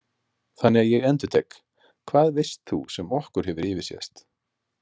Þannig að ég endurtek: Hvað veist þú sem okkur hefur yfirsést?